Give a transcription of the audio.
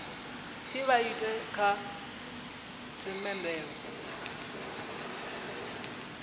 pfi vha ite kha themendelo